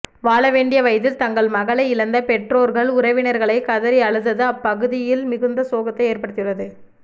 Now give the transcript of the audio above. வாழ வேண்டிய வயதில் தங்கள் மகளை இழந்த பெற்றோர்கள் உறவினர்களை கதறி அழுதது அப்பகுதியில் மிகுத்த சோகத்தை ஏற்படுத்தியுள்ளது